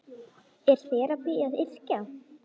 Er þerapía að yrkja?